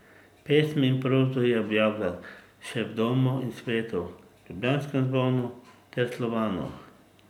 Pesmi in prozo je objavljal še v Domu in svetu, Ljubljanskem zvonu ter Slovanu.